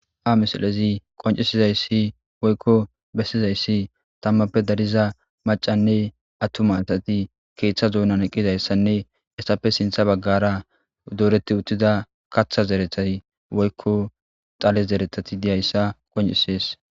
Ha missilezi qoncisizayssi woykko bessizayssi tamappe dariza macanne attuma assati keeththa duunan eqqizayssanne hessape sinththa baggara dooreti uttida kaththa zerethay woykko dhale zereththati diyayssa qoncisees